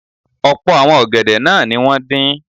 Ọ̀pọ̀ àwọn ọ̀gẹ̀dẹ̀ náà ni wọ́n dín.